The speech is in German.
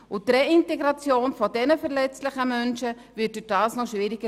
Die Reintegration dieser verletzlichen Menschen wird dadurch noch schwieriger.